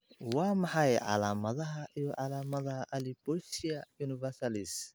Waa maxay calaamadaha iyo calaamadaha Alopecia universalis?